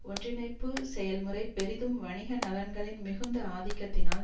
ஒன்றிணைப்பு செயல் முறை பெரிதும் வணிக நலன்களின் மிகுந்த ஆதிக்கத்தினால்